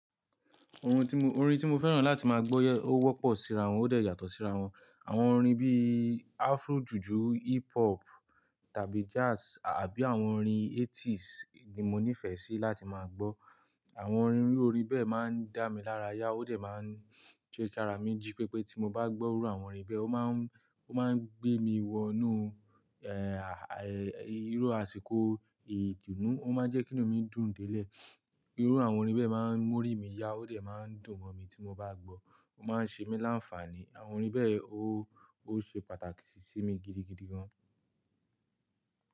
Orin tí mo, orin tí mo fẹ́ràn láti máa gbó, ó wọ́pọ̀ síra wọn ó dẹ̀ yàtọ̀ síra wọn. Àwọn orin bíi afro jùjú, hip hop tàbí jazz àbí àwọn orin eighties ni mo nífẹ̀ẹ́ sí láti máa gbọ́. Àwọn orin orin bẹ́ẹ̀ máa ń dá mi lára yá ó dẹ̀ máa ń je kí ara mi jí pepé tí mo bá gbọ́ iru àwọn orin bẹ́ẹ̀. Ó máa ń, ó máa ń gbé mi wọnú, ẹ́, a, ẹ́, irú àsìkò ìdùnnú, ó máa ń jẹ́kí inú mi dùn délẹ̀. Irú àwọn orin bẹ́ẹ̀ máa ń morí mi yá ó dẹ̀ máa ń dùn mọ́ mi tí mo bá gbọ́. Ó máa ń ṣe mí láǹfààní. Àwọn orin bẹ́ẹ̀ ó, ó ṣe pàtàkì sí mi gidigidi gan.